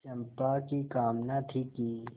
चंपा की कामना थी कि